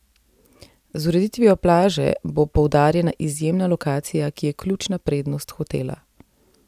Z ureditvijo plaže bo poudarjena izjemna lokacija, ki je ključna prednost hotela.